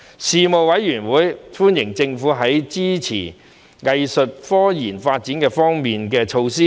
事務委員會歡迎政府在支持"藝術科技"發展方面的措施。